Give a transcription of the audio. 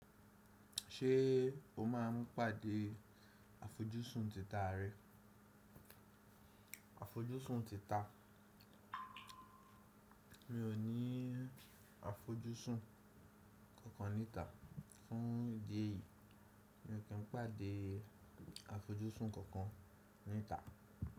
Ṣé o máa ń pàdé àfojúsùn tìta rẹ? Àfojúsùn tìta. Mi ò ní àfojúsùn kankan níta. Fún ìdí èyí, mi ò kí ń pàdé àfojúsùn kankan níta.